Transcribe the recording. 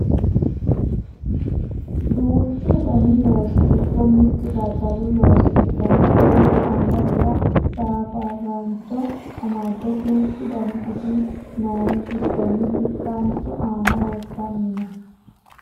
duuchu dani loosi giddo mittu daddalu looso ikkanna beetto angasera safaraancho amadde duuchu dani gidi noohu giddonni bikkaanchu aana wortanni no